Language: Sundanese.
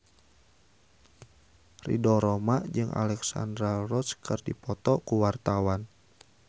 Ridho Roma jeung Alexandra Roach keur dipoto ku wartawan